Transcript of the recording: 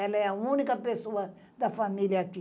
Ela é a única pessoa da família aqui.